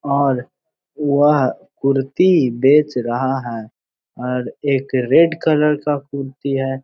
और वह कुर्ती बेच रहा है और एक रेड कलर का कुर्ती है।